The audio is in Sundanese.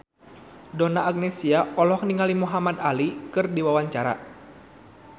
Donna Agnesia olohok ningali Muhamad Ali keur diwawancara